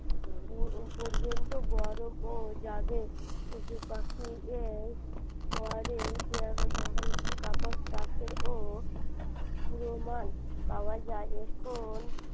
পর্যন্ত গরম ও যাবে পশুপাখি এর পরে ও প্রমান পাওয়া যায় এখন